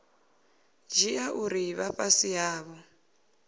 dzhia uri vha fhasi havho